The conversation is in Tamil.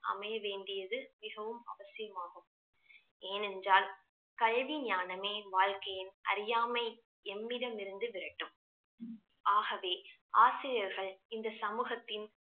அமைய வேண்டியது மிகவும் அவசியமாகும் ஏனென்றால் கல்வி ஞானமே வாழ்க்கையின் அறியாமை எம்மிடமிருந்து விரட்டும் ஆகவே ஆசிரியர்கள் இந்த சமூகத்தின்